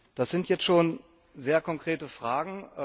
Das sind jetzt schon sehr konkrete Fragen.